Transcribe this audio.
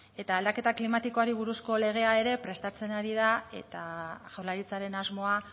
eta aldaketa klimatikoari buruzko legea ere prestatzen ari da eta jaurlaritzaren asmoa